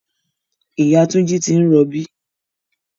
Ìyá Túnjí ti ń rọbí